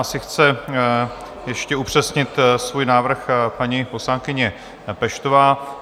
Asi chce ještě upřesnit svůj návrh paní poslankyně Peštová.